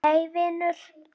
Nei vinur.